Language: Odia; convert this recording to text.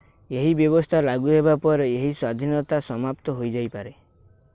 ଏହି ବ୍ୟବସ୍ଥା ଲାଗୁ ହେବା ପରେ ଏହି ସ୍ଵାଧୀନତା ସମାପ୍ତ ହୋଇଯାଇପାରେ